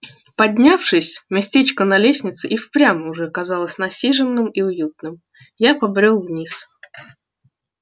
поднявшись местечко на лестнице и впрямь уже казалось насиженным и уютным я побрёл вниз